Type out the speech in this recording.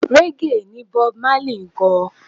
Raggae ni Bob Marley ń kọ.